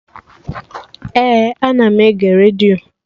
Ee, ana m ege redio